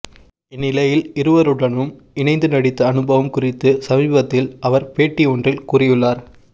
இந்நிலையில் இருவருடனும் இணைந்து நடித்த அனுபவம் குறித்து சமீபத்தில் அவர் பேட்டி ஒன்றில் கூறியுள்ளார்